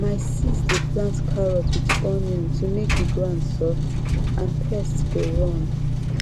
my sis dey plant carrot with onion to make the ground soft and pest go run